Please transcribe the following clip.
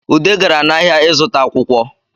Ude gara n’ahịa ịzụta akwụkwọ